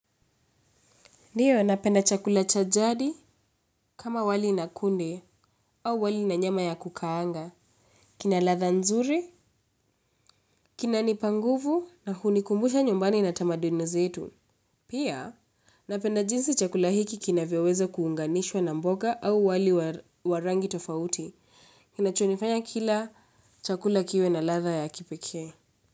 Ndiyo, napenda chakula cha jadi kama wali na kunde au wali na nyama ya kukaanga. Kina latha nzuri, kinanipanguvu na hunikumbusha nyumbani na tamaduni zetu. Pia, napenda jinsi chakula hiki kinavyoweza kuunganishwa na mboga au wali wa rangi tofauti. Kinacho nifanya kila chakula kiwe na latha ya kipeke.